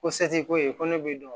Ko se ti ko ye ko ne b'i dɔn